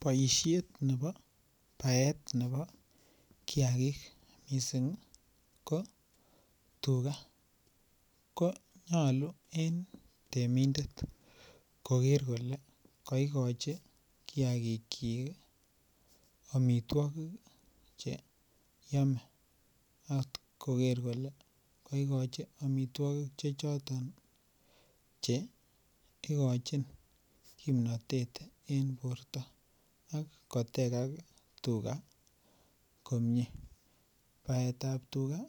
Boisiet nebo baet nebo kiagik, missing ko tuga konyolu en temindet koker kole kikochi kiagik chik ih amituagig cheyome. Atko ker kole kaigochi amituakik che choton ih chei kochin kimnatet en borto ak kotegak tuga komie. Baetab tuga